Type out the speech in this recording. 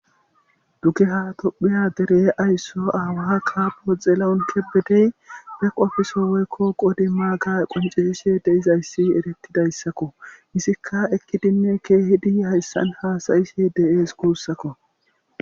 duke ha tophiya dere aysso aawaa kaapo xeelaon kebedey pe qofiso woykko qodi maaga qoncisishe deizayssi erettidayssakko misikka ekkidinne keehidi hayssan haasayishe de7ees guussakko